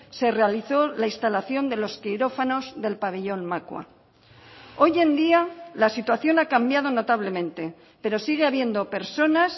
se realizó la instalación de los quirófanos del pabellón macua hoy en día la situación ha cambiado notablemente pero sigue habiendo personas